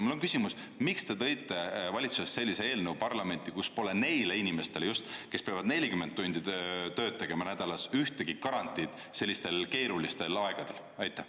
Mul on küsimus, miks te tõite valitsusest sellise eelnõu parlamenti, kus pole neile inimestele, kes peavad 40 tundi tööd tegema nädalas, ühtegi garantiid sellistel keerulistel aegadel?